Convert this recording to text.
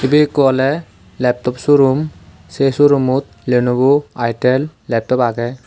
ibey ekku oley laptop showroom se showroommmot lenovo eyetel laptop agey.